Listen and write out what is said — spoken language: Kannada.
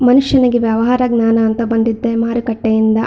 ಮನುಷ್ಯನಿಗೆ ವ್ಯವಹಾರ ಜ್ಞಾನ ಅಂತ ಬಂದಿದ್ದೇ ಮರುಕಟ್ಟೆಯಿಂದ.